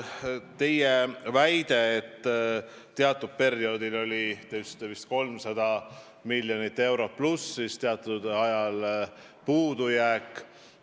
Teie väide oli, et teatud perioodil oli eelarve 300 miljoni euroga plussis, teatud ajal oli puudujääk.